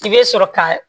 I bɛ sɔrɔ ka